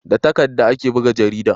da takadda ake buga jarida